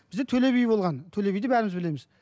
бізде төле би болған төле биді бәріміз білеміз